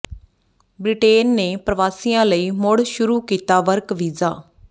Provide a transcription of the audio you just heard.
Britain ਨੇ ਪਰਵਾਸੀਆਂ ਲਈ ਮੁੜ ਸ਼ੁਰੂ ਕੀਤਾ ਵਰਕ ਵੀਜ਼ਾ